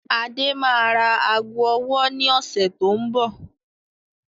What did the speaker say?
Adé máa ra aago ọwọ́ ni ọ̀sẹ̀ tó ń bọ̀